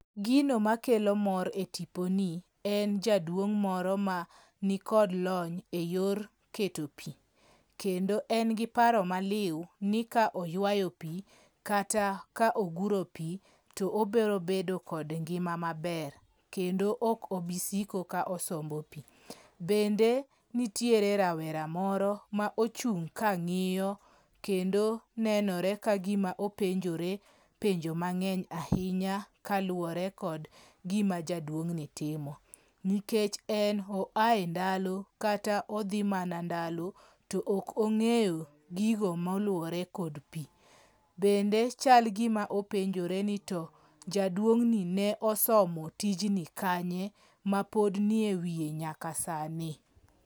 Gino ma kelo mor e tipo ni en jaduong' moro mani kod lony e yor keto pii kendo en gi paro maliw ni ka oywayo pii kata ka oguro pii to obro bedo kod ngima maber kendo ok obisiko ka osombo pii. Bende nitie rawera moro ma ochung' ka ng'iyo kendo nenore ni openjore penjo mang'eny ahinya kaluwore kod gima jaduong' ni timo, nikech en oa e ndalo kata odhi mana ndalo to ok ong'eyo gigo moluwore kod pii. Bende chal gima openjore ni to jaduong' ni ne osomo tijni kanye mapod nie wiye nyaka sani.